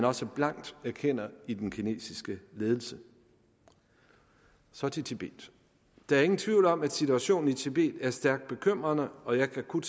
også blankt erkender i den kinesiske ledelse så til tibet der er ingen tvivl om at situationen i tibet er stærkt bekymrende og jeg kan kun